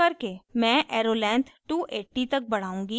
मैं arrow length 280 तक बढ़ाउंगी